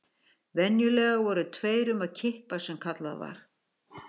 Venjulega voru tveir um að kippa sem kallað var.